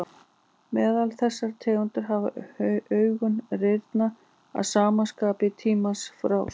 Meðal þessara tegunda hafa augun rýrnað að sama skapi í tímans rás.